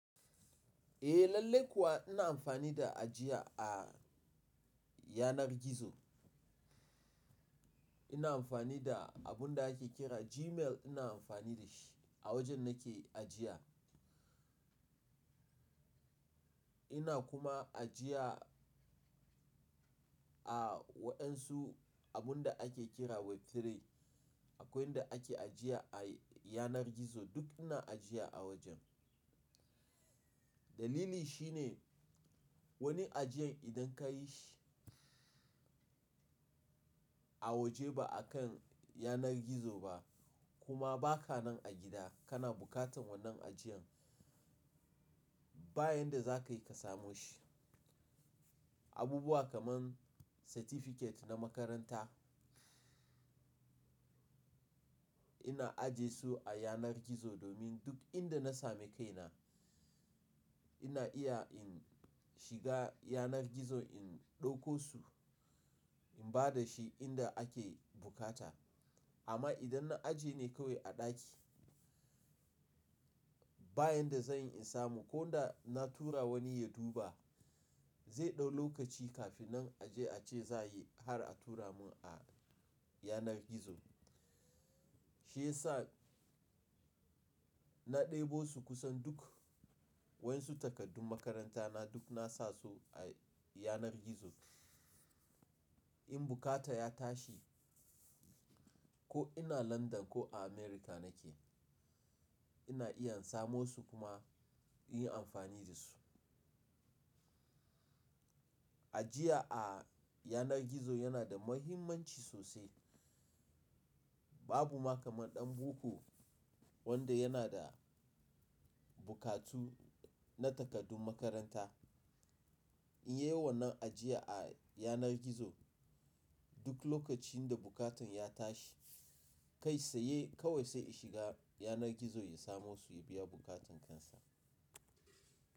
Eh lallai kuwa ina amfani da ajiya a yanar gizo. Ina amfani da abun da ake kira Gmail ina amfani da shi a wajen nake ajiya. Ina kuma ajiya a waɗansu abun da ake kira Web3 Akwai in da ake ajiya a yanar gizo duk ina ajiya a wajen. Dalili shi ne wani ajiyan idan ka yi shi a waje ba akan yanar gizo ba kuma ba ka nan a gida kana bukatan wannan ajiyan baya da za ka yi ka samu shi. Abubuwa kaman certificate na makaranta ina aje su a yanar gizo domin duk inda na sami kaina ina iya in shiga yanar gizo in ɗauko su in ba da shi inda ake bukata. Amma idan na aje ne kawai a ɗaki baya da zan yi in samu ko da na tura wani ya duba zai ɗau lokaci kafin nan aje a ce za yi har a tura mun a yanar gizo. Shi yasa na ɗebo su kusan duk wansu takardun makaranta na duk na sa su a yanar gizo. In bukata ya tashi ko ina London ko a America nake ina iya in samo su kuma in yi amfani da su. Ajiya a yanar gizo yana da muhimmanci sosai. Babu ma kaman ɗan boko wanda yana da bukatu na takardun makaranta in yi wa wannan ajiya a yanar gizo duk lokacin da bukatun ya tashi kai tsa yai kawai sai ya shiga yanar gizo ya samo su ya biya bukatun kansa.